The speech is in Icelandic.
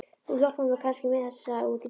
Þú hjálpar mér kannski með þessa út í bíl?